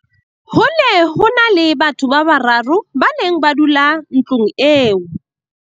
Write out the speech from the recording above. ho ne ho na le batho ba bararo ba neng ba dula ntlong eo